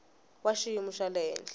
wa xiyimo xa le henhla